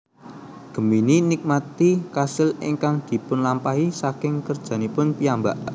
Gemini nikmati kasil ingkang dipunlamaphi saking kerjanipun piyambak